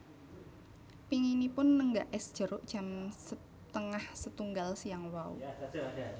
Pinginipun nenggak es jeruk jam setengahs etunggal siang wau